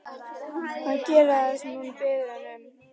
Hann gerir það sem hún biður hann um.